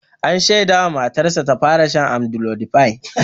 An shaida mas matarsa ta fara shan amlodipine.